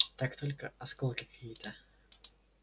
так только осколки какие-то